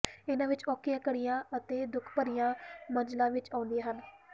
ਇਨ੍ਹਾਂ ਵਿੱਚ ਔਖੀਆਂ ਘਾਟੀਆਂ ਅਤੇ ਦੁੱਖ ਭਰੀਆਂ ਮੰਜ਼ਲਾਂ ਵੀ ਆਉਂਦੀਆਂ ਹਨ